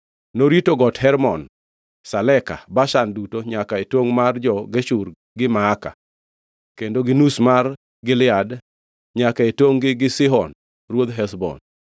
Norito Got Hermon, Saleka, Bashan duto, nyaka e tongʼ mar jo-Geshur gi Maaka, kendo gi nus mar Gilead nyaka e tongʼ-gi gi Sihon, ruodh Heshbon.